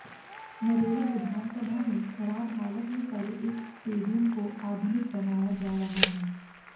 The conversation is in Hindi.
नरेला विधानसभा में खराब हालत में पड़े एक स्टेडियम को आधुनिक बनाया जा रहा है